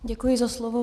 Děkuji za slovo.